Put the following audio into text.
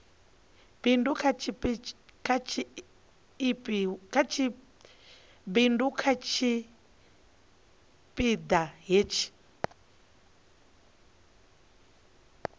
bindu kha tshipi ḓa hetshi